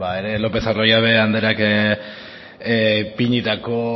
lopez de arroyabe andereak ipinitako